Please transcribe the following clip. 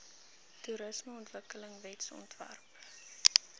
toerismeontwikkelingwetsontwerpe